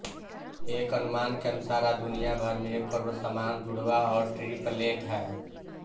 एक अनुमान के अनुसार आज दुनिया भर में एक करोड़ समान जुड़वां और ट्रिप्लेट हैं